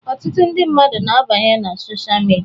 Ọtụtụ ndị mmadụ na abanye n'sochaa midia.